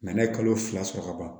n'a ye kalo fila sɔrɔ ka ban